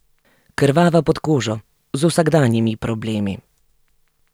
Krvava pod kožo, z vsakdanjimi problemi.